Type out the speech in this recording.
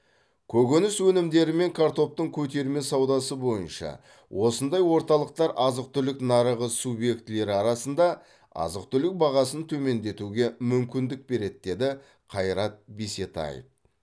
көкөніс өнімдері мен картоптың көтерме саудасы бойынша осындай орталықтар азық түлік нарығы субъектілері арасында азық түлік бағасын төмендетуге мүмкіндік береді деді қайрат бисетаев